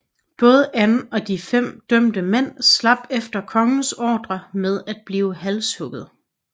Både Anne og de fem dømte mænd slap efter kongens ordre med at blive halshugget